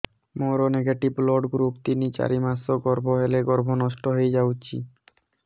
ମୋର negative blood group ତିନ ଚାରି ମାସ ଗର୍ଭ ହେଲେ ଗର୍ଭ ନଷ୍ଟ ହେଇଯାଉଛି